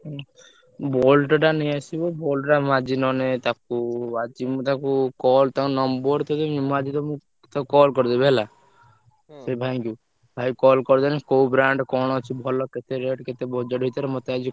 ହୁଁ Boult ଟା ନେଇଆସିବ Boult ଟା ମୁଁ ଆଜି ନହେଲେ ତାକୁ ଆଜି ମୁଁ ତାକୁ call ତା number ଟା ଦେବି ମୁଁ ଆଜି ତମୁକୁ ତାକୁ call କରିଦେବି ହେଲା। ସେ ଭାଇଙ୍କୁ। ଭାଇଙ୍କୁ call କରିଦେଲେ କୋଉ brand କଣ ଅଛି ଭଲ କେତେ rate କେତେ budget ଭିତରେ ମତେ ଆଜି।